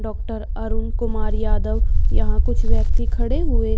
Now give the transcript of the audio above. Doctor Arun Kumar Yadav यहां कुछ व्यक्ति खड़े हुए।